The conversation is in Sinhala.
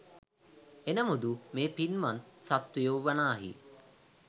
එනමුදු මේ පින්වත් සත්වයෝ වනාහි